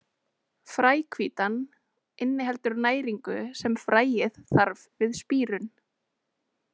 Fræhvítan inniheldur næringu sem fræið þarf við spírun.